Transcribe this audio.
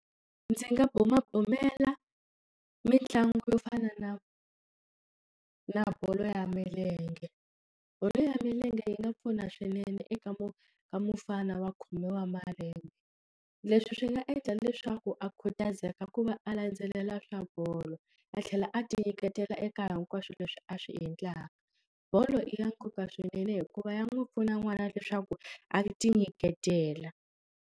Ndzi nga bumabumela mitlangu yo fana na na bolo ya milenge bolo ya milenge yi nga pfuna swinene eka mo ka mufana wa khomiwa malembe leswi swi nga endla leswaku a khutazeka ku va a landzelela swa bolo a tlhela a ti nyiketela eka hinkwaswo leswi a swi endlaka bolo i ya nkoka swinene hikuva ya n'wi pfuna n'wana leswaku a ti nyiketela.